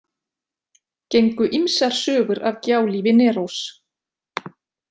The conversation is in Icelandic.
Gengu ýmsar sögur af gjálífi Nerós.